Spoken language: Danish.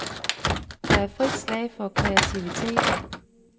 Der er frit slag for kreativiteten.